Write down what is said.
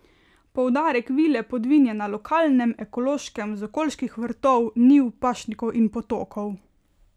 Poudarek Vile Podvin je na lokalnem, ekološkem, z okoliških vrtov, njiv, pašnikov in potokov.